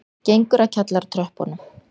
Gengur að kjallaratröppunum.